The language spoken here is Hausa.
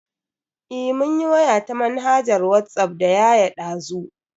Eh mun yi waya ta manhajar Whatsapp da yaya dazu.